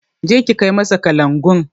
Je ki kai masa kalangun!